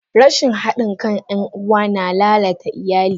Rashin hadin kan yan uwa na lalata iyali.